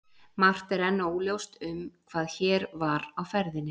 Margt er enn óljóst um hvað hér var á ferðinni.